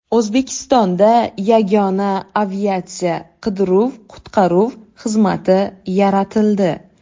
O‘zbekistonda yagona aviatsiya qidiruv-qutqaruv xizmati yaratildi.